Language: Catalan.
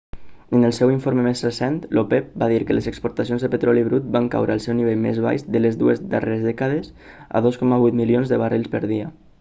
en el seu informe més recent l'opep va dir que les exportacions de petroli brut van caure al seu nivell més baix de les dues darreres dècades a 2,8 milions de barrils per dia